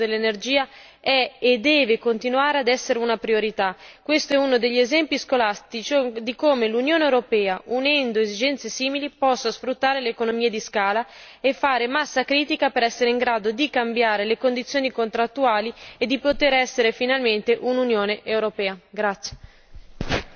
La rimozione di tutti gli ostacoli al mercato interno dell'energia è, e deve continuare a essere, una priorità. Questo è uno degli esempi scolastici di come l'Unione europea, unendo esigenze simili, possa sfruttare le economie di scala e fare massa critica per essere in grado di cambiare le condizioni contrattuali e poter essere finalmente un'Unione europea.